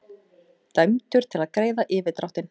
Dæmdur til að greiða yfirdráttinn